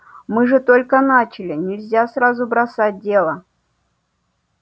мы же только начали нельзя сразу бросать дело